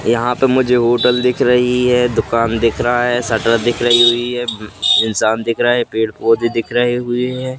यहां पे मुझे होटल दिख रही है दुकान दिख रहा है शटर दिख रही हुई है इंसान दिख रहा है पेड़ पौधे दिख रहे हुए हैं।